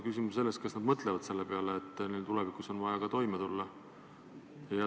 Küsimus on selles, kas nad mõtlevad selle peale, et neil on ka tulevikus vaja ka toime tulla.